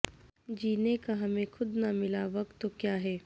جینے کا ہمیں خود نہ ملا وقت تو کیا ہے